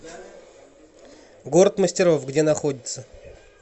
город мастеров где находится